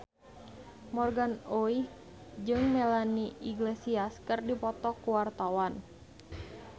Morgan Oey jeung Melanie Iglesias keur dipoto ku wartawan